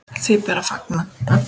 Því ber að fagna.